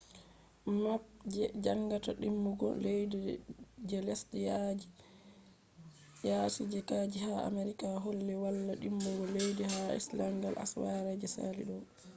map je jangata dimbugo leddi je lesde yasi je kaeji ha america holli wala dimbugo leddi ha iceland asawere je sali do